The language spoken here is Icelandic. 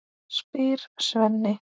spyr Svenni.